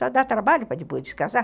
Só dá trabalho para depois descasar.